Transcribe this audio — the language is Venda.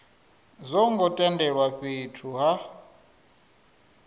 zwo ngo tendelwa fhethu ha